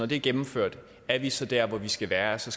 det er gennemført er vi så der hvor vi skal være så